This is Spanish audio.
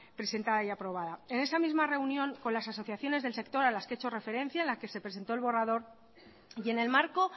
presentada y aprobada en esa misma reunión con las asociaciones del sector a las que he hecho referencia en la que se presentó el borrador y en el marco